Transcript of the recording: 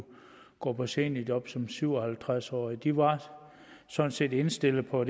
gå på seniorjob som syv og halvtreds årig de var sådan set indstillet på